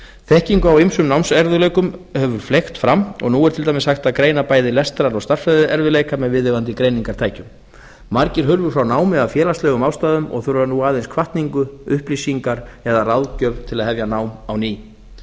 þekkingu á ýmsum námserfiðleikum hefur fleygt fram og nú er til dæmis hægt að greina bæði lestrar og stærðfræðierfiðleika með viðeigandi greiningartækjum margir hurfu frá námi af félagslegum ástæðum og þurfa nú aðeins hvatningu upplýsingar eða ráðgjöf til að hefja nám á ný